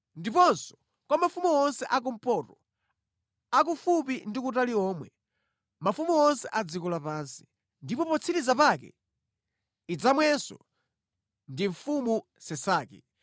ndiponso kwa mafumu onse a kumpoto, akufupi ndi kutali omwe, mafumu onse a dziko lapansi. Ndipo potsiriza pake, idzamwenso ndi mfumu Sesaki.